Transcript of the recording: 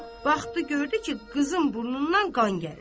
Baxdı, gördü ki, qızın burnundan qan gəlir.